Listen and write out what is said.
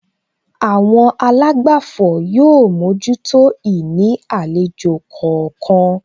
Àwọn àlágbàfọ̀ yóò mójútó ìní àlejò kọ̀ọ̀kan